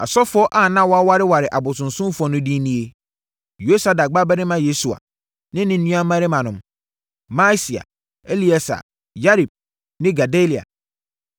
Asɔfoɔ a na wɔawareware abosonsomfoɔ no din nie: Yosadak babarima Yesua ne ne nuammarimanom: Maaseia, Elieser, Yarib ne Gedalia.